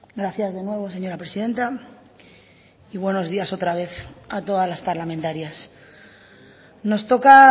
gracias de nuevo señora presidenta y buenos días otra vez a todas las parlamentarias nos toca